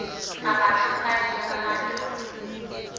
kapa khampani ya ba mmalwa